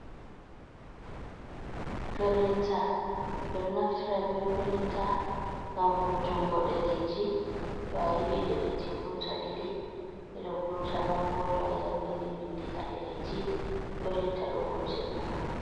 Printa ɓe ɗo naftira be pirinta ngam vurtungo ɗereji, to a yiɗi ɗereji vurta ɗiɗi ɓeɗo vurta, non bo to a yahi a vindi bindi ha ɗereji perinta ɗo wurtina ma.